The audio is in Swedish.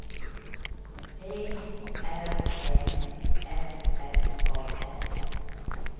T R Ä F F A S